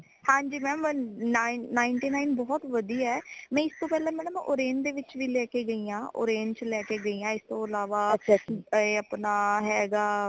ਹਾਂਜੀ mam ninth nine ਬਹੁਤ ਵਧੀਆ ਹੈ ਮੈਂ ਇਸ ਤੋਂ ਪਹਿਲਾਂ madam orange ਦੇ ਵਿਚ ਵੀ ਲੈ ਕੇ ਗਈ ਹਾਂ orange ਚ ਲੈ ਕ ਗਈ ਹਾਂ ਇਸ ਤੋਂ ਅਲਾਵਾ ਐ ਅਪਣਾ ਹੈਗਾ